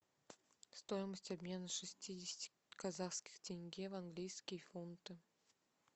стоимость обмена шестидесяти казахских тенге в английские фунты